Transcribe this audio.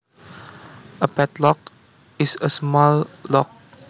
A padlock is a small lock